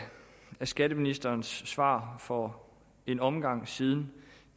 skatteministerens svar for en omgang siden